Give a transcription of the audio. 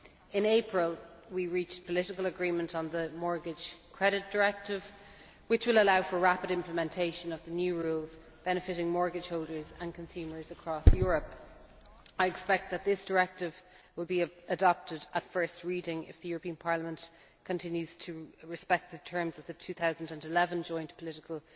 In April we reached political agreement on the Mortgage Credit Directive, which will allow for rapid implementation of the new rules benefiting mortgage holders and consumers across Europe. I expect that this directive will be adopted at first reading, if the European Parliament continues to respect the terms of the 2011 Joint Political